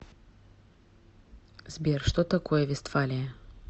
сбер что такое вестфалия